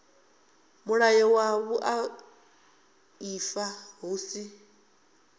mulayo wa vhuaifa hu si